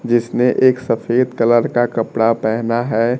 जिसने एक सफेद कलर का कपड़ा पहना है।